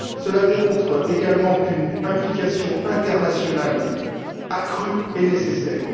Cela démontre également qu'une implication internationale accrue est nécessaire.